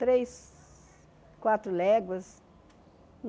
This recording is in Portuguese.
Três, quatro léguas.